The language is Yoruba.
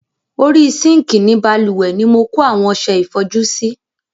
Orí sinkii ni bálùwẹ̀ ni mo kó àwọn ọsẹ ìfọjú sí.